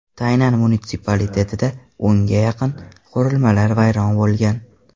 Taynan munitsipalitetida o‘nga yaqin qurilmalar vayron bo‘lgan.